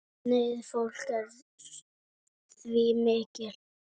Neyð fólks er því mikil.